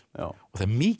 það er mikið